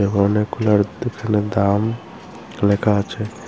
অনেকগুলার পেছনে দাম লেখা আছে।